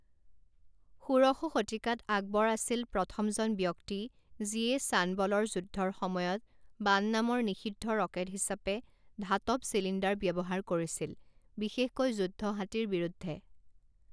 ষোড়শ শতিকাত আকবৰ আছিল প্ৰথমজন ব্যক্তি যিয়ে ছানবলৰ যুদ্ধৰ সময়ত বান নামৰ নিষিদ্ধ ৰকেট হিচাপে ধাতব চিলিণ্ডাৰ ব্যৱহাৰ কৰিছিল, বিশেষকৈ যুদ্ধ হাতীৰ বিৰুদ্ধে।